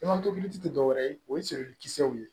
tɛ dɔwɛrɛ ye o ye kisɛw ye